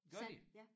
Gør de?